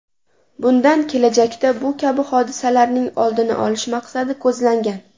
Bundan kelajakda bu kabi hodisalarning oldini olish maqsadi ko‘zlangan.